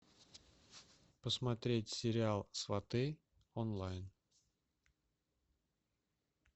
посмотреть сериал сваты онлайн